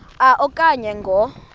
a okanye ngo